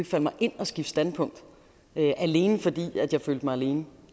falde mig ind at skifte standpunkt alene fordi jeg følte mig alene